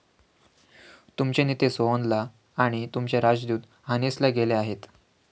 तुमचे नेते सोअनला आणि तुमचे राजदूत हानेसला गेले आहेत.